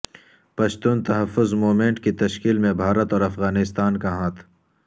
Pashtun Tahaffuz movement کی تشکیل میں بھارت اور افغانستان کا ہاتھ